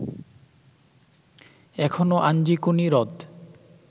এখনো আঞ্জিকুনি হ্রদ